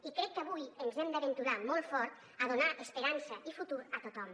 i crec que avui ens hem d’aventurar molt fort a donar esperança i futur a tothom